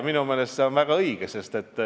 Minu meelest on see väga õige.